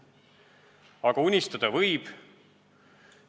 Aga unistada võib.